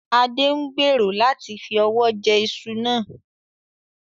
Adé ń gbèrò láti fi ọwọ jẹ ìṣù náà